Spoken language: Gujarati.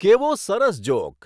કેવો સરસ જોક